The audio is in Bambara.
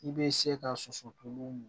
I bɛ se ka soso to mɔ